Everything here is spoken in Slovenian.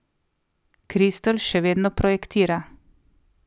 Kristl še vedno projektira.